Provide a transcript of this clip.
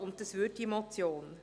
Das täte diese Motion.